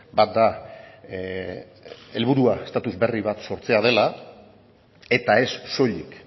bat da helburua estatus berri bat sortzea dela eta ez soilik